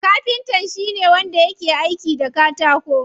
Kafinta shine wanda yake aiki da katako.